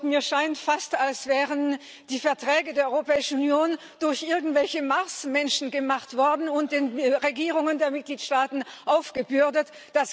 Mir scheint fast, als wären die Verträge der Europäischen Union durch irgendwelche Marsmenschen gemacht und den Regierungen der Mitgliedstaaten aufgebürdet worden.